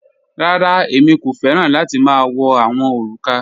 Rárá, èmi kò fẹ̀ran láti ma wọ̀ awọn orúkà.